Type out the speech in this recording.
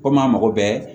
Komi a mago bɛ